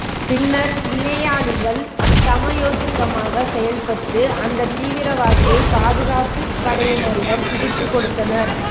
பின்னர் பிணையாளிகள் சமயோசிதமாக செயல்பட்டு அந்தத் தீவிரவாதியை பாதுகாப்புப் படையினரிடம் பிடித்துக் கொடுத்தனர்